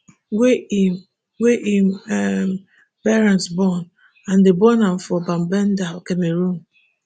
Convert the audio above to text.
wey im wey im um parent born and dem born am for bamenda cameroon